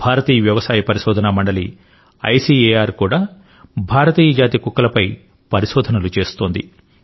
భారతీయ వ్యవసాయ పరిశోధన మండలి ఐసిఎఆర్ కూడా భారతీయ జాతి కుక్కలపై పరిశోధనలు చేస్తోంది